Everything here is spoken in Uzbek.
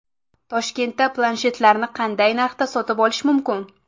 Toshkentda planshetlarni qanday narxda sotib olish mumkin?.